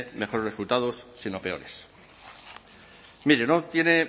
mejores resultados sino peores mire no tiene